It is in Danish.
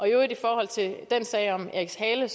øvrigt i forhold til den sag om eriks hale